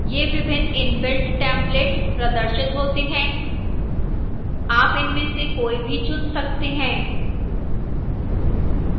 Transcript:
यह विभिन्न inbuilt templates प्रदर्शित होते हैं आप इनमें से कोई भी चुन सकते हैं